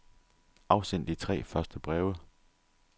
Afsend de tre første breve.